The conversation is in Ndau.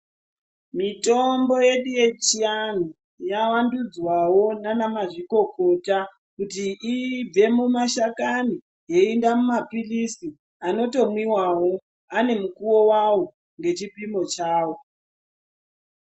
Mitombo yedu yechiantu yavandudzwa wo nena mazvikokota kuti ibve mumashakani iyende muma pilizi ano tomwiwawo ane mukuwo wawo ne chipimo chawo.